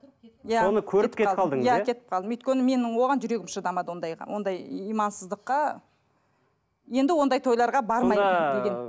иә соны көріп кетіп қалдыңыз иә кетіп қалдым өйткені менің оған жүрегім шыдамады ондайға ондай имансыздыққа енді ондай тойларға бармаймын